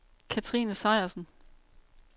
Kathrine Sejersen